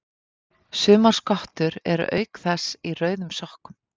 Sumar skottur eru auk þess í rauðum sokkum.